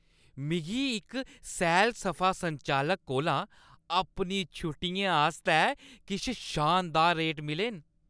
मिगी इक सैल-सफा संचालक कोला अपनी छुट्टियें आस्तै किश शानदार रेट मिले न ।